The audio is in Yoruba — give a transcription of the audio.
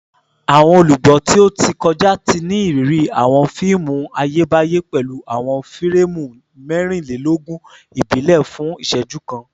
Awọn olugbo ti o ti kọja ti ni iriri awọn fiimu Ayebaye pẹlu awọn fireemu mẹrinlelogun ibile fun iṣẹju kan